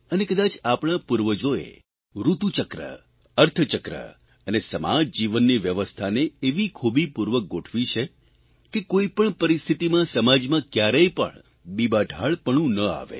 અને કદાચ આપણા પૂર્વજોએ ઋતુચક્ર અર્થચક્ર અને સમાજજીવનની વ્યવસ્થાને એવી ખૂબી પૂર્વક ગોઠવી છે કે કોઇપણ પરિસ્થિતિમાં સમાજમાં કયારેય પણ બીબાઢાળપણું ન આવે